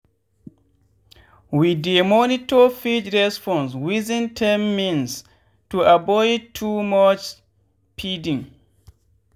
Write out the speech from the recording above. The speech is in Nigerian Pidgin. we dey monitor feed response within 10mins to avoid too much feeding